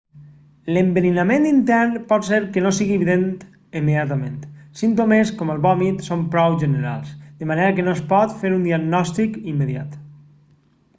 l'enverinament intern pot ser que no sigui evident immediatament símptomes com el vòmit són prou generals de manera que no es pot fer un diagnòstic immediat